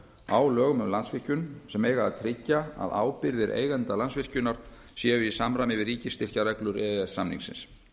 á lögum um landsvirkjun sem eiga að tryggja að ábyrgðir eigenda landsvirkjunar séu í samræmi við ríkisstyrkjareglur e e s samningsins